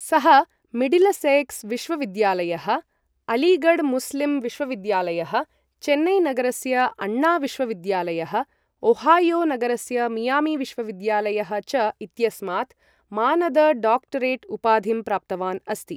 सः मिडिलसेक्स विश्वविद्यालयः, अलीगढ मुस्लिम विश्वविद्यालयः, चेन्नईनगरस्य अन्ना विश्वविद्यालयः, ओहायो नगरस्य मियामी विश्वविद्यालयः च इत्यस्मात् मानद डॉक्टरेट् उपाधिं प्राप्तवान् अस्ति ।